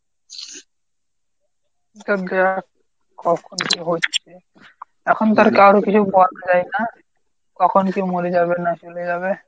কখন কী হচ্ছে? এখন তো আর কারো কিছু করার নাই না? কখন কে মরে যাবে না চলে যাবে?